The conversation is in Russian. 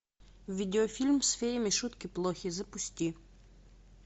видеофильм с феями шутки плохи запусти